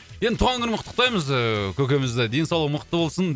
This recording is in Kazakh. енді туған күнімен құттықтаймыз ыыы көкемізді денсаулығы мықты болсын